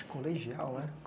Colegial, é?